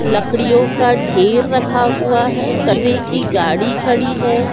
लकड़ियों का ढेर रखा हुआ है कचरे की गाड़ी खड़ी है।